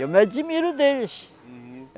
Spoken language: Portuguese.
Eu me admiro deles. Uhum